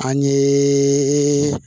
An ye